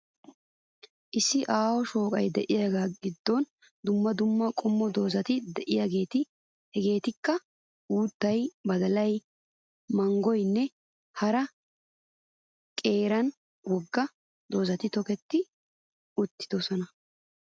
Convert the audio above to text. Issi aaho shooqa diyagaa giddon dumma dumma qommo doozati diyageeti hegeetikka uuttay, badalay, manggoyinne hara qeeranne wogga doozati toketti uttidosona.